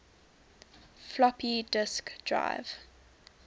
floppy disk drive